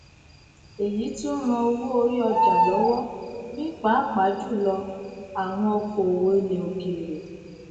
èyí tún ran owó orí ọjà lówó ní pàápàá jùlọ àwọn okoòwò ilè òkèrè